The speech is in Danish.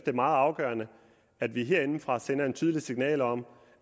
er meget afgørende at vi herindefra sender et tydeligt signal om